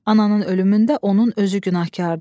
Ananın ölümündə onun özü günahkardır.